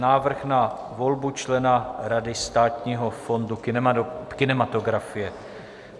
Návrh na volbu člena Rady Státního fondu kinematografie